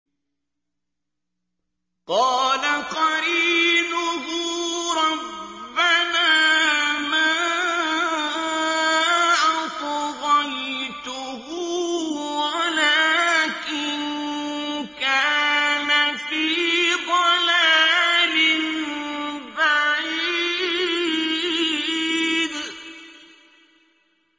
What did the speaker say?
۞ قَالَ قَرِينُهُ رَبَّنَا مَا أَطْغَيْتُهُ وَلَٰكِن كَانَ فِي ضَلَالٍ بَعِيدٍ